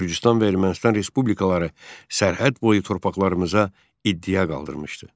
Gürcüstan və Ermənistan respublikaları sərhəd boyu torpaqlarımıza iddia qaldırmışdı.